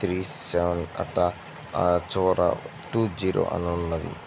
Three seven అట ఆ చివర టూ జీరో అని ఉన్నది.